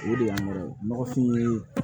O de y'an yɛrɛ nɔgɔfin ye